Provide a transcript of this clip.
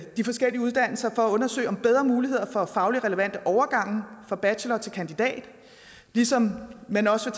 de forskellige uddannelser for at undersøge bedre muligheder for fagligt relevante overgange fra bachelor til kandidat ligesom man også